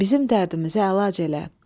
bizim dərdimizə əlac elə.